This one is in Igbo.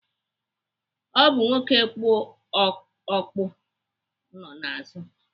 Ọ bụ nwoke kpu okpu nọ n'azụ.